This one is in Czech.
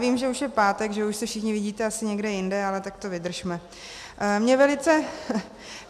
Vím, že už je pátek, že už se všichni vidíte asi někde jinde, ale tak to vydržme.